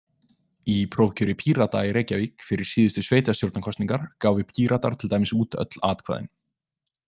Í prófkjöri Pírata í Reykjavík fyrir síðustu sveitastjórnarkosningar gáfu Píratar til dæmis út öll atkvæðin.